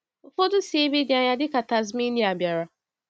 Ụfọdụ si ebe dị anya dịka Tasmania bịara.